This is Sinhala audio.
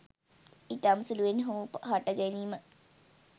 ඉතාම සුළුවෙන් හෝ හට ගැනීම